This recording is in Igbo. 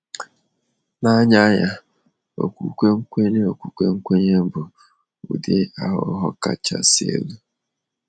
N’anya ya, okwukwe nkwenye okwukwe nkwenye bụ ụdị aghụghọ kachasị elu.